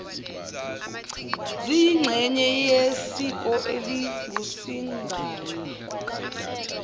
ziyingxenye yesiko elingusingaye